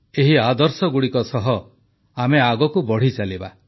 ଏହି ଆଦର୍ଶଗୁଡ଼ିକ ସହ ଆମେ ଆଗକୁ ବଢ଼ିଚାଲିବା